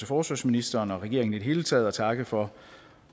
forsvarsministeren og regeringen i det hele taget og takke for